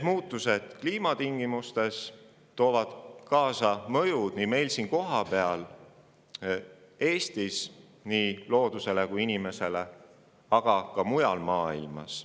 Muutused kliimatingimustes toovad endaga kaasa mõjud nii meil siin kohapeal, Eestis, kui ka mujal maailmas ning seda nii loodusele kui ka inimesele.